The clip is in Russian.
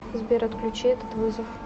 сбер отключи этот вызов